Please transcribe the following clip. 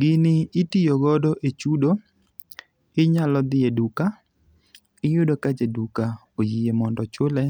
Gini itiyo godo e chudo. Inyalo dhi e duka, iyudo ka jaduka oyie mondo ochule